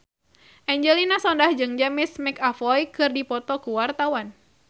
Angelina Sondakh jeung James McAvoy keur dipoto ku wartawan